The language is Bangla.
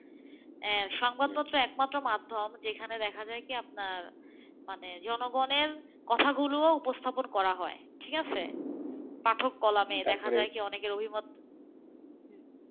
সংবাদপত্র একমাত্র মাধ্যম যেখানে দেখা যায় কি আপনার, যেখানে মানে জনগণের কথাগুলো উপস্থাপন করা হয়ঠিক আছে? পাঠক কলমে দেখা যায় কি অনেকের অভিমত,